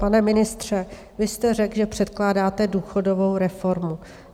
Pane ministře, vy jste řekl, že předkládáte důchodovou reformu.